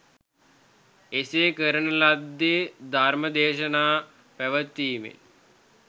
එසේ කරන ලද්දේ ධර්ම දේශනා පැවැත්වීමෙන්